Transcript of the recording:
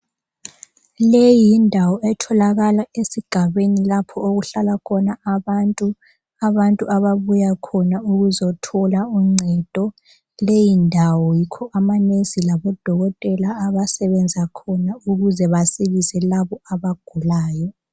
Leyi yindawo etholakala esigabeni lapho okuhlala khona abantu, abantu ababuya khona ukuzithola uncedo kuleyi ndawo yikho amanesi labodokotela abesebenza khona ukuze basilise laba abagulayo.